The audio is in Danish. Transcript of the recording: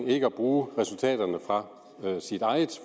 ikke at bruge resultaterne fra sit eget